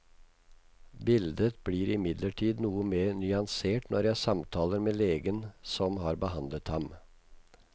Bildet blir imidlertid noe mer nyansert når jeg samtaler med legen som har behandlet ham.